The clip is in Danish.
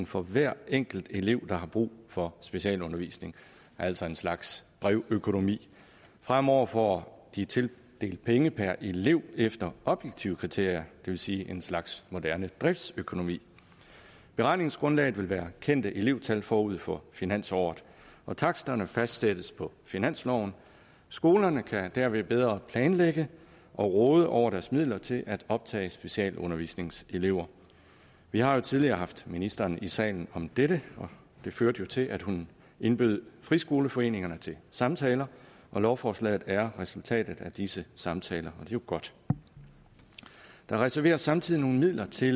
for hver enkelt elev der har brug for specialundervisning altså en slags brevøkonomi fremover får de tildelt penge per elev efter objektive kriterier det vil sige en slags moderne driftsøkonomi beregningsgrundlaget vil være kendte elevtal forud for finansåret og taksterne fastsættes på finansloven skolerne kan derved bedre planlægge og råde over deres midler til at optage specialundervisningselever vi har tidligere haft ministeren i salen om dette og det førte jo til at hun indbød friskoleforeningerne til samtaler og lovforslaget er resultatet af disse samtaler og jo godt der reserveres samtidig nogle midler til